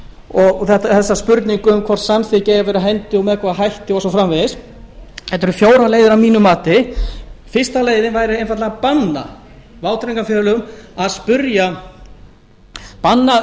og þá spurningu um hvort samþykki eigi að vera á hendi með hvaða hætti og svo framvegis þetta eru fjórar leiðir að mínu mati fyrsta leiðin væri einfaldlega að banna